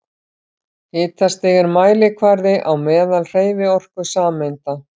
Hitastig er mælikvarði á meðalhreyfiorku sameinda.